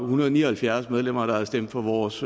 hundrede og ni og halvfjerds medlemmer der havde stemt for vores